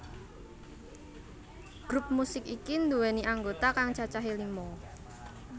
Grup musik iki nduwèni anggota kang cacahé lima